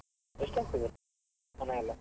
ಎಸ್ಟ್ ಆಗ್ತದೆ ಹಣ ಎಲ್ಲ?